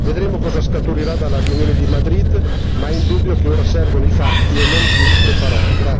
Vedremo cosa scaturirà dalla riunione di Madrid, ma è indubbio che ora servono i fatti e non più le parole.